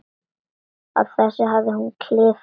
Á þessu hafði hún klifað.